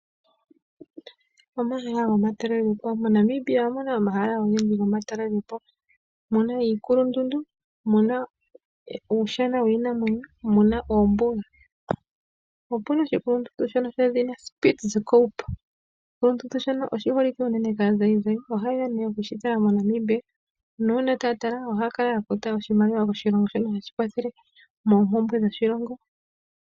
Omahala gomatalelopo. MoNamibia omuna omahala ogendji gomatalelopo. Muna iikulundundu, uushana wiinamwenyo, noshowo oombuga. Opuna oshikulundundu shono shedhina Spitzikoup, shono shi holike unene kaazayizayi, ohayeya okushitala moNamibia, nuuna taya tala, ohaya kala ya futa oshimaliwa koshilongo shono hashi kwathele moompumbwe dhoshilongo.